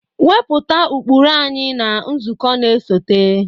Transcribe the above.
Wepụta ụkpụrụ anyị na nzukọ na-esote!